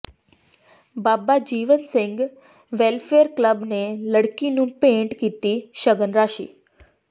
ਬਾਬਾ Jiwan Singh welfare club ਨੇ ਲੜਕੀ ਨੂੰ ਭੇਂਟ ਕੀਤੀ ਸ਼ਗਨ ਰਾਸ਼ੀ